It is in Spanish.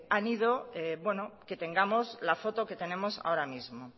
han ido bueno que tengamos la foto que tenemos ahora mismo